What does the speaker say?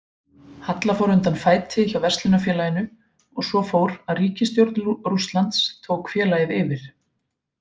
Halla fór undan fæti hjá verslunarfélaginu og svo fór að ríkisstjórn Rússlands tók félagið yfir.